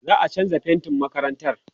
za'a chanza faintin makarantar